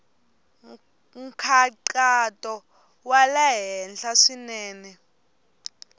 nkhaqato wa le henhla swinene